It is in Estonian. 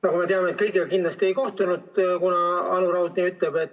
Nagu me teame, kõigiga kindlasti ei kohtunud, kuna Anu Raud nii ütleb.